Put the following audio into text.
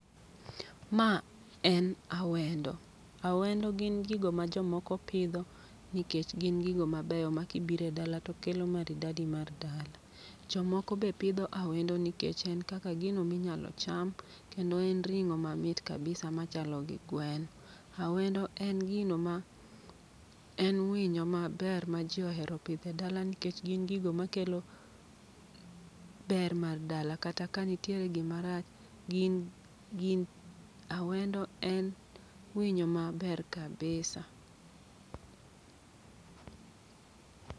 Ma en awendo, awendo gin gigo ma jomoko pidho. Nikech gin gigo mabeyo ma kibire dala to kelo maridadi mar dala. Jomoko be pidho awendo nikech en kaka gino minyalo cham, kendo en ring'o mamit kabisa machalo gi gweno. Awendo en gino ma en winyo ma ber ma ji ohero pidhe dala nikech gin gigo ma kelo ber mar dala. Kata ka nitiere gima rach, gin gin awendo en winyo ma ber kabisa.